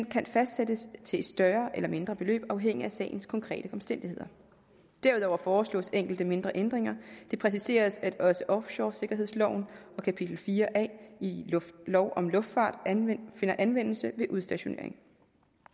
kan fastsættes til et større eller mindre beløb afhængigt af sagens konkrete omstændigheder derudover foreslås enkelte mindre ændringer det præciseres at også offshoresikkerhedsloven og kapitel fire a i lov om luftfart finder anvendelse ved udstationering